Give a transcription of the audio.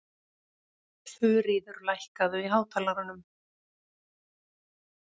Þuríður, lækkaðu í hátalaranum.